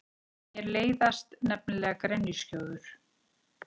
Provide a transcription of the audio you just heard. Mér leiðast nefnilega grenjuskjóður.